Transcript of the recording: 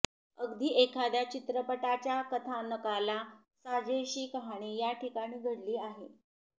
अगदी एखाद्या चित्रपटाच्या कथानकाला साजेशी कहाणी याठिकाणी घडली आहे